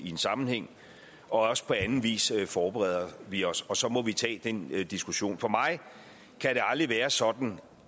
en sammenhæng og også på anden vis forbereder vi os og så må vi tage den diskussion for mig kan det aldrig være sådan